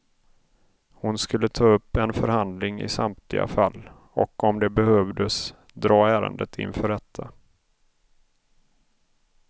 Hon skulle ta upp en förhandling i samtliga fall, och om det behövdes dra ärendet inför rätta.